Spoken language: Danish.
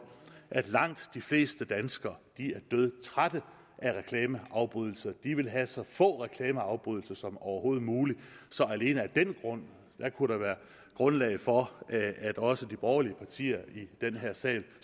at langt de fleste danskere er dødtrætte af reklameafbrydelse de vil have så få reklameafbrydelser som overhovedet muligt så alene af den grund kunne der være grundlag for at også de borgerlige partier i den her sal